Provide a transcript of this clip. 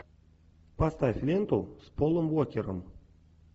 поставь ленту с полом уокером